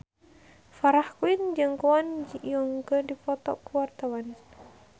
Farah Quinn jeung Kwon Ji Yong keur dipoto ku wartawan